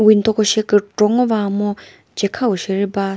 window ko she kükro va mu chekhao sheri ba.